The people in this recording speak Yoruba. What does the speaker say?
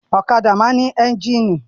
Ọ̀kadà máa ń ní ẹ́ńjínì.